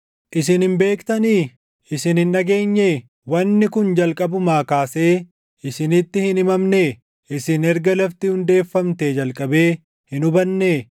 Isin hin beektanii? Isin hin dhageenyee? Wanni kun jalqabumaa kaasee isinitti hin himamnee? Isin erga lafti hundeeffamtee jalqabee hin hubannee?